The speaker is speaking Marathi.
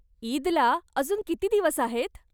ईदला अजून किती दिवस आहेत?